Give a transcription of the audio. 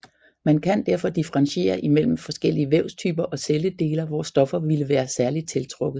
Man kan derfor differentiere imellem forskellige vævstyper og celledeler hvor stoffer ville være særligt tiltrukket